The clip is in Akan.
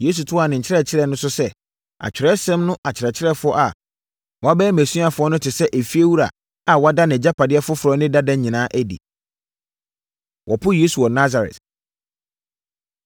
Yesu toaa ne nkyerɛkyerɛ no so sɛ, “Atwerɛsɛm no akyerɛkyerɛfoɔ a wɔabɛyɛ mʼasuafoɔ no te sɛ efiewura a wada nʼagyapadeɛ foforɔ ne dada nyinaa adi.” Wɔpo Yesu Wɔ Nasaret